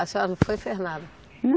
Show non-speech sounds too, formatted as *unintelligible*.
A senhora não foi *unintelligible* nada?